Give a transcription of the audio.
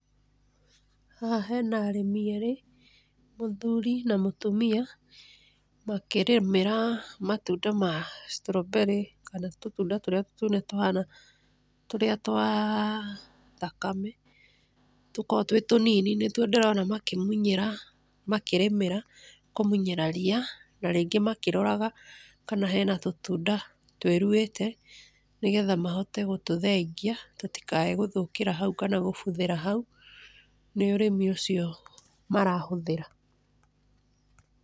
Haha he na arĩmi erĩ, mũthuri na mũtumia makĩrĩmĩra matunda ma strawberry kana tũtunda tũrĩa tũnini tũrĩa twa nyakame tũkoragwo twĩ tũnini, nĩtuo ndĩrona makĩmunyĩra makĩrĩmĩra kũmunyĩra rĩa, na rĩngĩ makĩroraga kana he na tũtunda tũĩruhĩte nĩgetha amahote gũtũthengia tũtikaae gũthũkĩra haũ kana kũbuthĩra hau. Nĩ ũrĩmi ũcio marahũthĩra.